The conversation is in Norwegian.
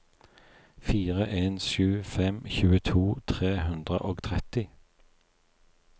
fire en sju fem tjueto tre hundre og tretti